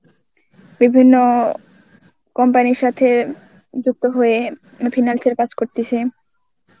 বিভিন্ন company এর সাথে যুক্ত হয়ে মানে finance এর কাজ করতেছে.